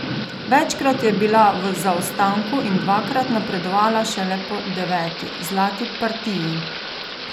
Večkrat je bila v zaostanku in dvakrat napredovala šele po deveti, zlati partiji.